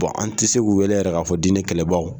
an tɛ se u wele yɛrɛ k'a fɔ di ne kɛlɛbaw.